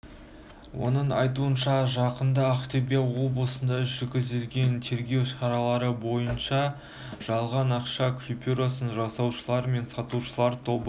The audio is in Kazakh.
оның айтуынша жақында ақтөбе облысында жүргізілген тергеу шаралары барысында жалған ақша купюросын жасаушылар мен сатушылар тобы